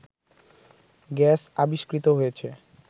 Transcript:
gas আবিষ্কৃত হয়েছে